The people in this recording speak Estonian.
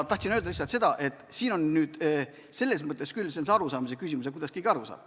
Tahtsin öelda lihtsalt seda, et siin on nüüd selles mõttes arusaamise küsimus, kuidas keegi aru saab.